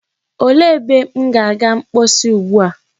Olee ebe m ga-aga mposi ugbua?